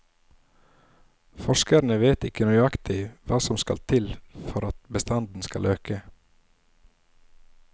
Forskerne vet ikke nøyaktig hva som skal til for at bestanden skal øke.